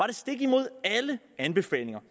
det stik imod alle anbefalinger